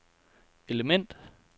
element